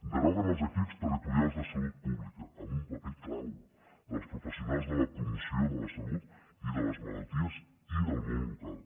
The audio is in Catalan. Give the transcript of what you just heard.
deroguen els equips territorials de salut pública amb un paper clau dels professionals de la promoció de la salut i de les malalties i del món local